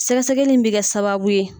Sɛgɛsɛgɛli in bɛ kɛ sababu ye